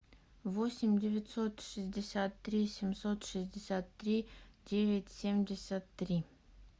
восемь девятьсот шестьдесят три семьсот шестьдесят три девять семьдесят три